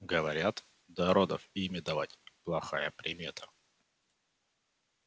говорят до родов имя давать плохая примета